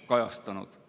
on kajastanud.